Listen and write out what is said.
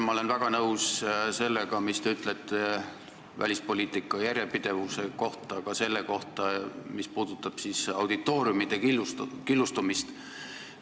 Ma olen väga nõus sellega, mis te ütlesite välispoliitika järjepidevuse kohta, ja sellega, mis puudutab auditooriumide killustumist.